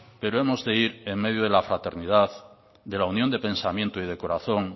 pero hemos de ir en medio de la fraternidad de la unión de pensamiento y de corazón